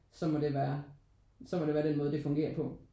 Så må det være så må det være den måde det fungerer på